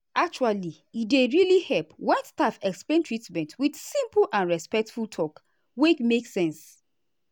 actually e dey really help when staff explain treatment with simple and respectful talk wey make sense.